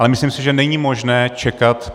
Ale myslím si, že není možné čekat.